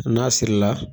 N'a siri la